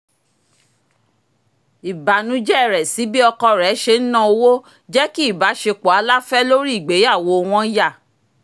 ìbànújẹ rẹ̀ sí bí ọkọ rẹ̀ ṣe ń na owó jẹ́ kí ìbáṣepọ̀ aláfẹ́ lórí ìgbéyàwó wọn yà